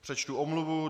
Přečtu omluvu.